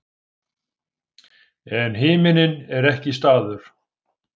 En himinninn er ekki staður.